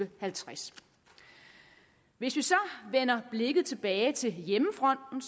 og halvtreds hvis vi så vender blikket tilbage til hjemmefronten